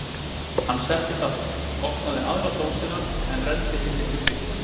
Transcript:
Hann settist aftur, opnaði aðra dósina en renndi hinni til Birkis.